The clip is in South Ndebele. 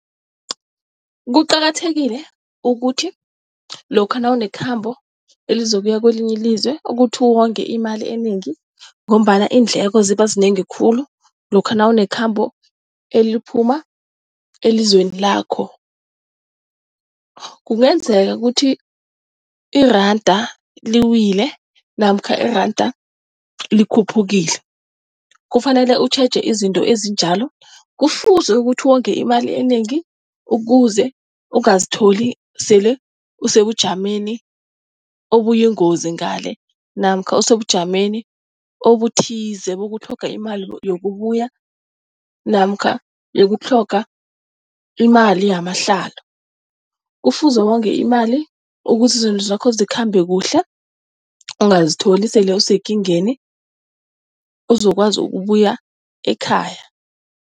Kuqakathekile ukuthi lokha nawunekhambo elizokuya kwelinye ilizwe ukuthi wonge imali enengi ngombana iindleko ziba zinengi khulu lokha nawunekhambo eliphuma elizweni lakho. Kungenzeka ukuthi iranda liwile namkha iranda likhuphukile, kufanele utjheje izinto ezinjalo, kufuze ukuthi wonge imali enengi ukuze ungazitholi sele usebujameni obuyingozi ngale namkha usebujameni obuthize bokutlhoga imali yokubuya namkha yokutlhoga imali yamahlalo. Kufuze wonge imali ukuze izinto zakho zikhambe kuhle, ungazitholi sele usekingeni uzokwazi ukubuya ekhaya.